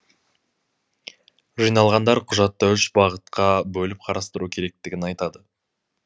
жиналғандар құжатты үш бағытқа бөліп қарастыру керектігін айтады